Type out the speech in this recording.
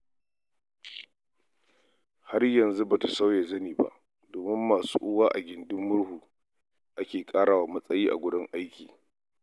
Har yanzu ba ta sauya zani ba, domin masu uwa a gindin murhu ake ƙara wa matsayi a wurin aiki.